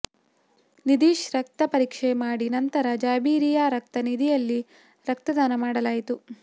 ನಿಧೀಶ್ ರಕ್ತ ಪರೀಕ್ಷೆ ಮಾಡಿ ನಂತರ ಜಾಬಿರಿಯಾ ರಕ್ತ ನಿಧಿಯಲ್ಲಿ ರಕ್ತದಾನ ಮಾಡಲಾಯಿತು